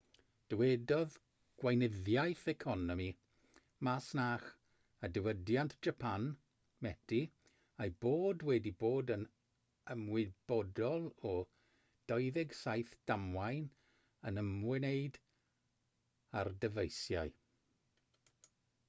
dywedodd gweinyddiaeth economi masnach a diwydiant japan meti ei bod wedi bod yn ymwybodol o 27 damwain yn ymwneud â'r dyfeisiau